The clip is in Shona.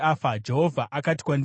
Jehovha akati kwandiri,